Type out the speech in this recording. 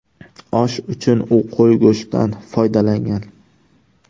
Osh uchun u qo‘y go‘shtidan foydalangan.